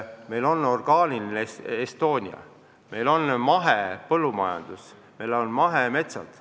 Meil on mahepõllumajandus, meil on mahemetsad.